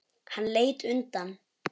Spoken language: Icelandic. Hann leit undan.